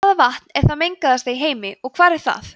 hvaða vatn er það mengaðasta í heimi og hvar er það